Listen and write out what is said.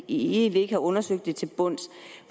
egentlig ikke har undersøgt det til bunds